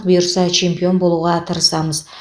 бұйырса чемпион болуға тырысамыз